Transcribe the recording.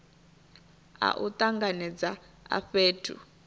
a u tanganedza a fhethu